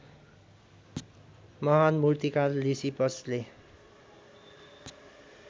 महान मूर्तिकार लिसिपसले